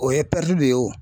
O ye de ye o.